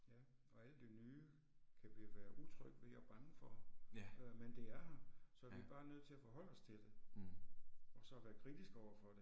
Ja og alt det nye kan vi være utrygge ved og bange for, øh men det er her, så vi er bare nødt til at forholde os til det. Og så være kritiske overfor det